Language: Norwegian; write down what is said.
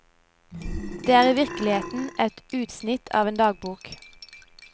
Det er i virkeligheten et utsnitt av en dagbok.